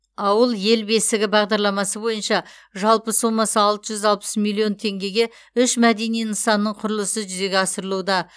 ауыл ел бесігі бағдарламасы бойынша жалпы сомасы алты жүз алпыс миллион теңгеге үш мәдени нысанның құрылысы жүзеге асырылуда